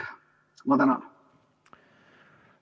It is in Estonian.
Ma tänan!